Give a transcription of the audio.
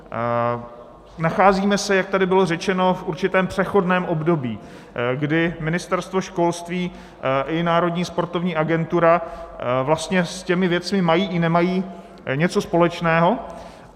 Nacházíme se, jak tady bylo řečeno, v určitém přechodném období, kdy Ministerstvo školství i Národní sportovní agentura vlastně s těmi věcmi mají i nemají něco společného.